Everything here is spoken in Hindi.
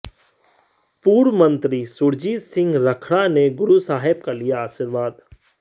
पूर्व मंत्री सुरजीत सिंह रखड़ा ने गुरु साहिब का लिया आशीर्वाद